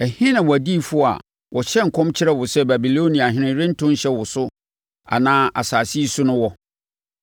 Ɛhe na wʼadiyifoɔ a wɔhyɛɛ nkɔm kyerɛɛ wo sɛ, ‘Babiloniahene rento nhyɛ wo so anaa asase yi so’ no wɔ?